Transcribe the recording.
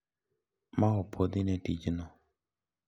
Ma opuodhi ne tijno.